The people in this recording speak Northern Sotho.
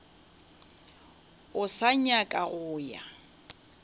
o sa nyaka go ya